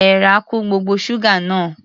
Èèrà kun gbogbo ṣúgà náà.